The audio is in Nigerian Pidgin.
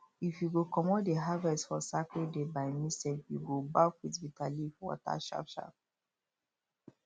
if you go comot the harvest for sacred day by mistake you go baff with bitter leaf water sharpsharp